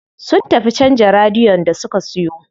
Sun tafi canza radiyon da suka siyo.